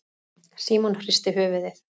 Símon hristi höfuðið.